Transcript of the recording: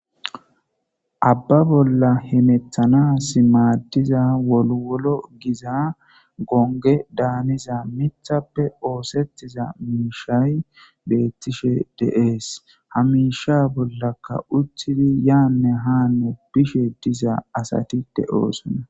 Abba bolla hemethanas maaddiza wolwolo giza gonge daaniza mithappe oosettiza miishay beettishe deees hamisha bollaka utthidi yaanne haano bishe diza asatite oosona.